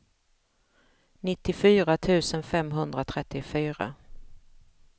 nittiofyra tusen femhundratrettiofyra